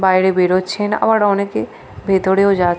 বাইরে বেরোচ্ছেন আবার অনেকে ভেতরেও যা --